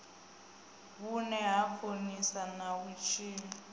vhune ha konisa na vhutshilo